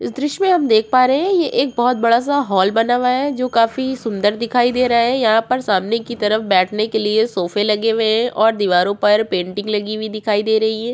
इस दृश्य में हम देख पा रहे हैं यह एक बहुत बड़ा सा हाल बना हुआ है जो काफी सुंदर दिखाई दे रहा है यहाँ पर सामने की तरफ बैठने के लिए सोफ़े लगे हुए हैं और दीवारों पर पेंटिंग लगी हुई दिखाई दे रही है।